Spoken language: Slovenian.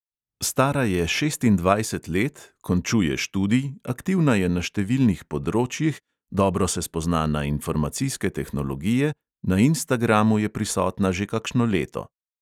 Stara je šestindvajset let, končuje študij, aktivna je na številnih področjih, dobro se spozna na informacijske tehnologije, na instagramu je prisotna že kakšno leto.